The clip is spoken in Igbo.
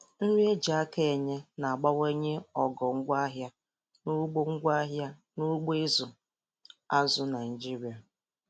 Nri eji aka enye na-abawanye ogo ngwaahịa n'ugbo ngwaahịa n'ugbo ịzụ azụ Naịjiria